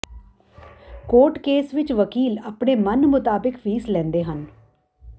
court case ਵਿੱਚ ਵਕੀਲ ਆਪਣੇ ਮਨਮੁਤਾਬਿਕ ਫੀਸ ਲੈਂਦੇ ਹਨ